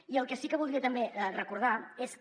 i el que sí que voldria també recordar és que